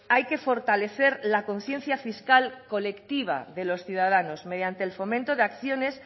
hay que fortalecer la conciencia fiscal colectiva de los ciudadanos mediante el fomento de acciones